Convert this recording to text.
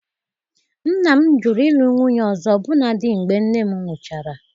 Nna m jụrụ ịlụ nwunye ọzọ ọbụna dị mgbe nne m nwụchara